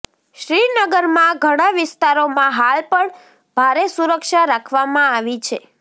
શ્રીનગરમાં ઘણાં વિસ્તારોમાં હાલ પણ ભારે સુરક્ષા રાખવામાં આવી છે